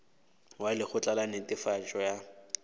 wa lekgotla la netefatšo ya